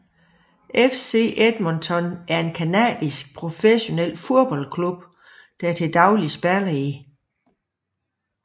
FC Edmonton er en canadisk professionel fodboldklub der til dagligt spiller i